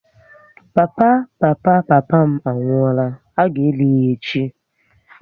Papa papa papa m anwụọla, a ga eli ya echi